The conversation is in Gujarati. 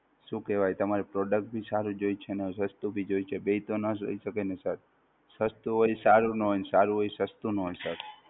શું કેવાય તમારે Product ભી સારું જોવે છે ને સસ્તું ભી જોએ છે બેય તો નો જ હોય શકે ને સર, સસ્તું હોય એ સારું નો હોય અને સારું હોય એ સસ્તું નો હોય Sir!